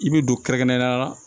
I bɛ don kɛrɛnkɛrɛn na